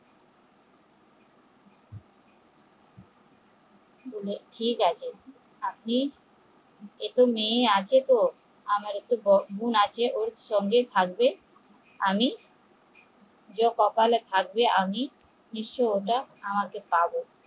ঠিক আছে আপনি আমারতো দোষ গুন্ আছে ওর সঙ্গে থাকবে আমি কপালে থাকবে আমি ওটা পাবো